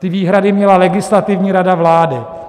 Ty výhrady měla Legislativní rada vlády.